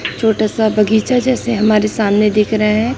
छोटा सा बगीचा जैसे हमारे सामने दिख रहे हैं।